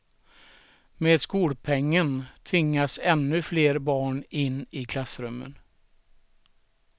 Med skolpengen tvingas ännu flera barn in i klassrummen.